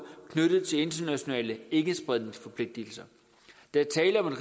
knyttet til internationale ikkespredningforpligtigelser der er tale om et